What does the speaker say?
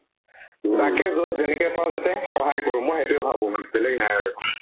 যাকে য'ত যেনেকে পাও তাতে সহায় কৰো মই সেইটোয়ে ভাবো মানে বেলেগ নাই আৰু